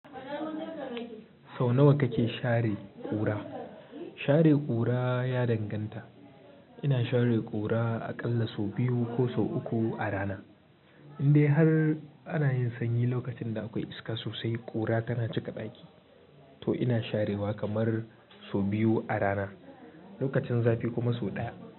Sau nawa kake share ƙura? Share ƙura ya danganta. Ina share ƙura aƙalla sau biyu ko sau uku a rana. Indai har ana yin sanyi lokacin da akwai iska sosai, ƙura tana cika ɗaki. To ina sharewa kamar sau biyu a rana, lokacin zafi kuma sau ɗaya.